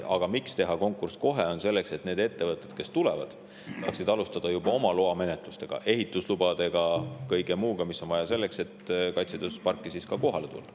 Põhjus, miks teha konkurss kohe, on see, et need ettevõtted, kes tulevad, saaksid juba alustada loamenetlustega: ehituslubade ja kõige muuga, mis on vaja selleks, et kaitsetööstusparki tõesti kohale tulla.